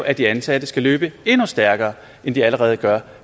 at de ansatte skal løbe endnu stærkere end de allerede gør